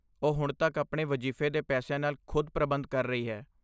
ਉਹ ਹੁਣ ਤੱਕ ਆਪਣੇ ਵਜ਼ੀਫ਼ੇ ਦੇ ਪੈਸਿਆਂ ਨਾਲ ਖ਼ੁਦ ਪ੍ਰਬੰਧ ਕਰ ਰਹੀ ਹੈ।